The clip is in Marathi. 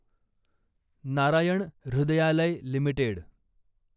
नारायण हृदयालय लिमिटेड